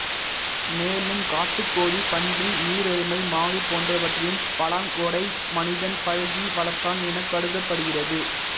மேலும் காட்டுக்கோழி பன்றி நீரெருமை மாடு போன்றவற்றையும் பலாங்கொடை மனிதன் பழக்கி வளர்த்தான் எனக் கருதப்படுகிறது